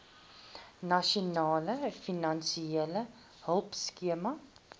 nasionale finansiële hulpskema